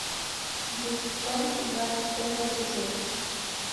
деффчонки двадцать пятый эпизод